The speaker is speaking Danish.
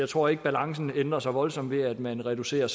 tror ikke balancen ændrer sig voldsomt ved at man reducerer